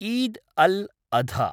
Eid al-Adha